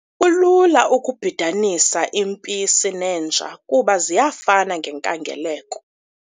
Kulula ukubhidanisa impisi nenja kuba ziyafana ngenkangeleko.